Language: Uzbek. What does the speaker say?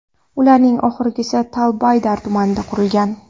Ularning oxirgisi Tal-Baydar tumanida qurilgan.